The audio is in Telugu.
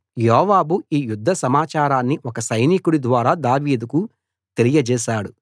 యోవాబు ఈ యుద్ధ సమాచారాన్ని ఒక సైనికుడి ద్వారా దావీదుకు తెలియజేశాడు